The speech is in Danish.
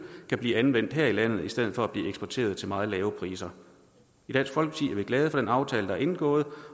kan blive anvendt her i landet i stedet for blive eksporteret til meget lave priser i dansk folkeparti er vi glade for den aftale der er indgået